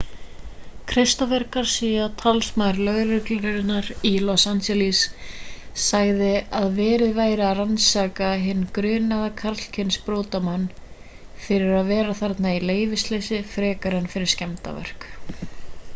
christopher garcia talsmaður lögreglunnar í los angeles sagði að verið væri að rannsaka hinn grunaða karlkyns brotamann fyrir að vera þarna í leyfisleysi frekar en fyrir skemmdarverk